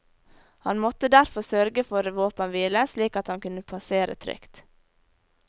Han måtte derfor sørge for våpenhvile slik at han kunne passere trygt.